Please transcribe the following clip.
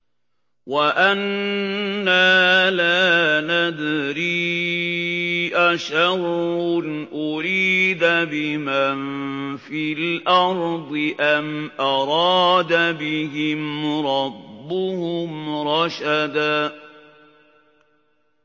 وَأَنَّا لَا نَدْرِي أَشَرٌّ أُرِيدَ بِمَن فِي الْأَرْضِ أَمْ أَرَادَ بِهِمْ رَبُّهُمْ رَشَدًا